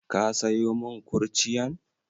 Ka sayo mun kurciyan?